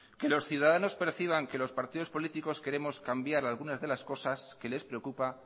que los ciudadanos perciban que los partidos políticos queremos cambiar alguna de las cosas que les preocupa